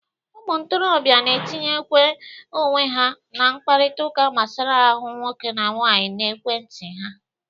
Ụmụ ntorobịa na-etinyekwa owe ha n'ịkparịtaụka gbasara ahụ nwoke na nwaanyị n'ekwe nti ha.